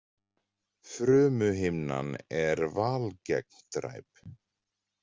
Frumuhimnan er valgegndræp.